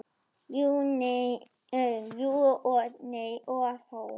Jú og nei og þó.